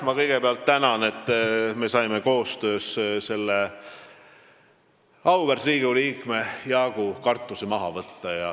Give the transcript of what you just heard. Ma kõigepealt tänan, et me saime auväärt Riigikogu liikme Jaagu kartused koostöös maha võtta.